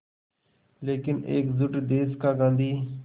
लेकिन एकजुट देश का गांधी